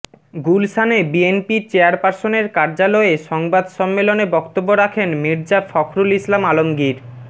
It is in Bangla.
গুলশানে বিএনপি চেয়ারপার্সনের কার্যালয়ে সংবাদ সম্মেলনে বক্তব্য রাখেন মির্জা ফখরুল ইসলাম আলমগীর